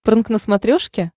прнк на смотрешке